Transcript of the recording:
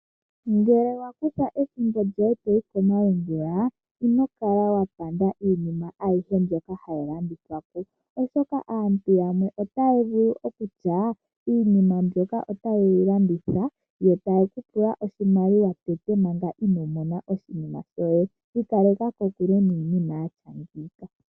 Ngele wa kutha ethimbo lyoye to yi komalungula, ino kala wa landa iinima ayihe mboka hayi landithwa po, oshoka aantu yamwe otaya vulu okutya iinimbyoka otaye yi landitha, yo taye ku pula oshimaliwa tango manga ino mona oshinima shoye. Ikaleka kokule niinima yaafa mbika.